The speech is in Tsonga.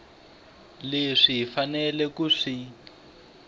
leswi hi faneleke ku swi